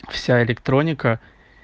вся электроника